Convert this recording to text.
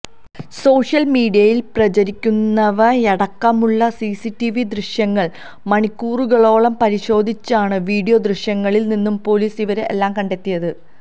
social മീഡിയയിൽ പ്രചരിക്കുന്നവയടക്കമുള്ള CCTV ദൃശ്യങ്ങൾ മണിക്കൂറുകളോളം പരിശോധിച്ചാണ് വീഡിയോ ദൃശ്യങ്ങളിൽ നിന്നും പൊലീസ് ഇവരെ എല്ലാം കണ്ടെത്തിയത്